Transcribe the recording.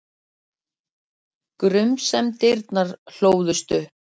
Grunsemdirnar hlóðust upp.